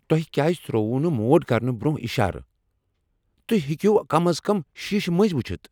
تو٘ہہ کیٛاز ترٛووٕ نہٕ موڑ کرنہٕ برٛونٛہہ اشارٕ؟ تہۍ ہیٚکہ ہو کم از کم شیٖشہٕ مٔنزۍ وٕچھتھ۔